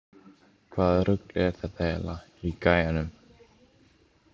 Hvaða rugl er þetta eiginlega í gæjanum?